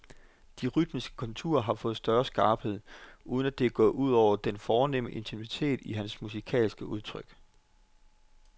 De rytmiske konturer har fået større skarphed, uden at det gået ud over den fornemme intimitet i hans musikalske udtryk.